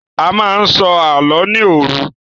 A máa n sọ àlọ ni òru.